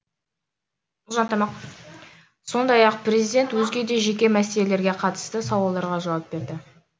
сондай ақ президент өзге де жеке мәселелерге қатысты сауалдарға жауап берді